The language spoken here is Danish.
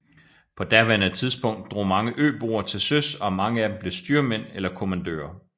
På daværende tidspunkt drog mange øboere til søs og mange af dem blev styrmænd eller kommandører